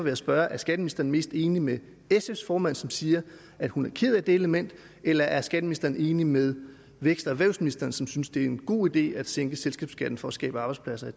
jeg spørge er skatteministeren mest enig med sfs formand som siger at hun er ked af det element eller er skatteministeren enig med erhvervs vækstministeren som synes det er en god idé at sænke selskabsskatten for at skabe arbejdspladser